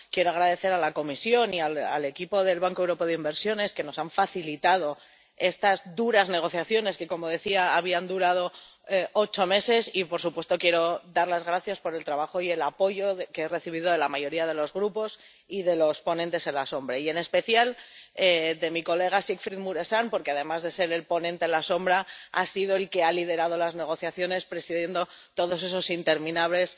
Quiero dar las gracias a la Comisión y al equipo del Banco Europeo de Inversiones, que nos han facilitado estas duras negociaciones, que, como decía, han durado ocho meses y, por supuesto, quiero dar las gracias por el trabajo y el apoyo que he recibido de la mayoría de los grupos y de los ponentes alternativos, y en especial de mi colega Siegfried Mureşan porque, además de ser ponente alternativo, ha sido quien ha liderado las negociaciones presidiendo todas esas interminables